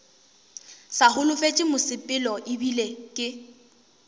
sa holofetše mosepelo ebile ke